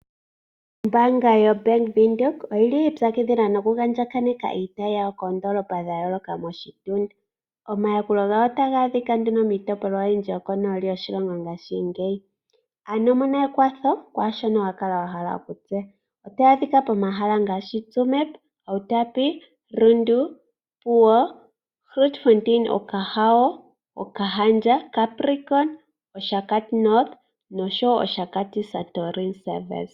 Ombaanga yo BANK WINDHOEK oyili yiipyakidhila noku andjaganeka iitayi yawo koondoolopa dha yooloka moshitunda. Omayakulo gawo otaga adhika nduno miitopolwa oyindji yoko nooli yoshilongo ngaashingeyi. Ano mona ekwatho kwaashono wa kala wa hala kutse. Otaya adhika pomahala ngaashi: Tsumeb, Outapo, Rundu, Opuwo, Grootfontein, Okahao, Okahandja, Capricorn, Oshakati-North, Oshakati Santorini Service.